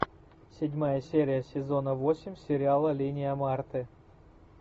седьмая серия сезона восемь сериала линия марты